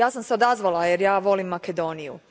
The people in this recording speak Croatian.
ja sam se odazvala jer ja volim Makedoniju.